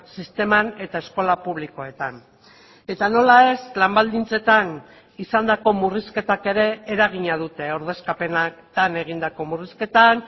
sisteman eta eskola publikoetan eta nola ez lan baldintzetan izandako murrizketak ere eragina dute ordezkapenetan egindako murrizketan